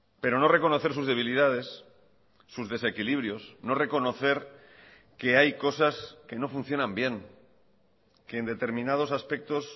pero no reconocer sus debilidades sus desequilibrios no reconocer que hay cosas que no funcionan bien que en determinados aspectos